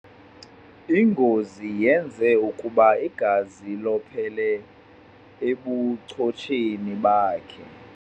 Ingozi yenze ukuba igazi lophele ebuchotsheni bakhe.